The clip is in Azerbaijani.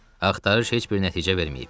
Axtarış heç bir nəticə verməyib.